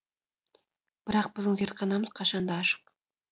бірақ біздің зертханамыз қашанда ашық